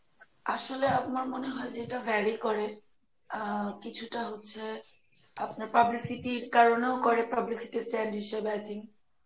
আসলে আমার যেটা মনে হয় যেটা very করে আহ কিছুটা হচ্ছে আপনার publycity কারনেও করে publicity হিসাবে I think